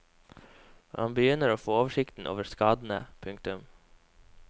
Man begynner å få oversikten over skadene. punktum